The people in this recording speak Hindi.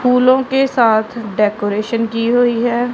फूलों के साथ डेकोरेशन की हुई है।